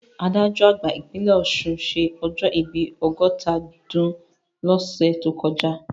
Adájọ́ àgbà ìpínlẹ̀ Ọ̀ṣun ṣé ọjọ́ ìbí ọgọ́ta ọdún lọ́sẹ̀ tó kọjá